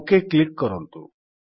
okay click କରନ୍ତୁ